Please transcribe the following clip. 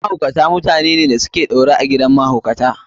Mahaukata mutanene da su ke ɗaure a gidan mahaukata.